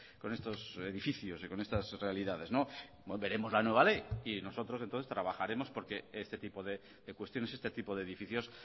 con estos edificios y con estas realidades veremos la nueva ley y nosotros entonces trabajaremos porque este tipo de cuestiones este tipo de edificios